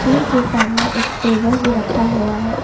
के सामने एक टेबल भी रखा हुआ है।